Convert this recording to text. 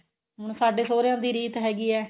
ਹੁਣ ਸਾਡੇ ਸੋਹਰਿਆਂ ਦੀ ਰੀਤ ਹੈਗੀ ਏ